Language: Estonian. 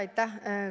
Aitäh!